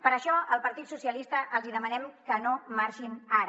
per això al partit socialistes els hi demanem que no marxin ara